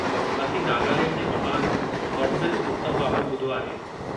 असीं नागालैंड जे महान हॉर्नबिल उत्सव बाबति ॿुधो आहे।